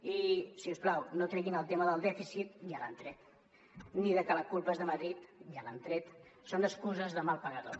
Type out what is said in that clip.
i si us plau no treguin el tema del dèficit ja l’han tret ni de que la culpa és de madrid ja l’han tret són excuses de mal pagador